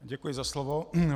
Děkuji za slovo.